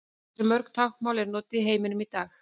Hversu mörg tungumál eru notuð í heiminum í dag?